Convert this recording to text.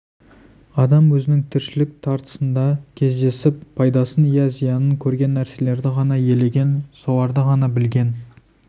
адам өзінің тіршілік тартысында кездесіп пайдасын иә зиянын көрген нәрселерді ғана елеген соларды ғана білген